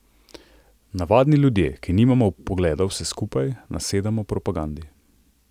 Navadni ljudje, ki nimamo vpogleda v vse skupaj, nasedamo propagandi.